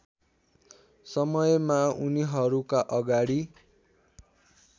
समयमा उनीहरूका अगाडि